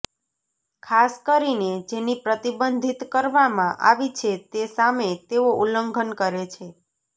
ખાસ કરીને જેની પ્રતિબંધિત કરવામાં આવી છે તે સામે તેઓ ઉલ્લંઘન કરે છે